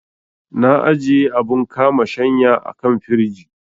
Na ajiye abun kama shanya a kan firij.